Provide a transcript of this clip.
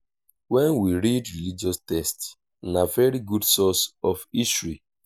when we read religious text na very good source of history